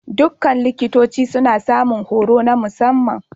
Dukkan likitoci suna samun horo na musamman.